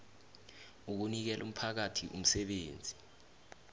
ukunikela umphakathi umsebenzi